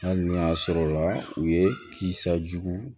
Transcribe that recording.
Hali n'u y'a sɔrɔla u ye kisisa jugu